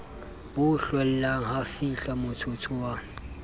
bo hlollang ha fihlamotsotso wa